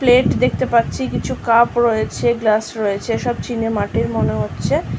Plate দেখতে পাচ্ছি কিছু কাপ রয়েছে গ্লাস রয়েছে সব চিনে মাটির মনে হচ্ছে।